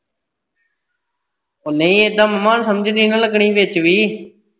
ਓਹ ਨਹੀਂ ਇੱਦਾਂ ਮਾਮਾ ਸਮਝ ਨਹੀ ਨਾ ਲੱਗਣੀ ਵਿਚ ਵੀ।